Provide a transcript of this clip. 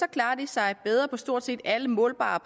klarer sig bedre på stort set alle målbare